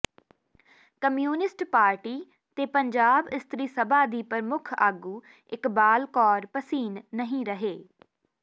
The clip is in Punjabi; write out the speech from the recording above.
ਕਮਿਊਨਿਸਟ ਪਾਰਟੀ ਤੇ ਪੰਜਾਬ ਇਸਤਰੀ ਸਭਾ ਦੀ ਪ੍ਰਮੁੱਖ ਆਗੂ ਇਕਬਾਲ ਕੌਰ ਭਸੀਨ ਨਹੀਂ ਰਹੇ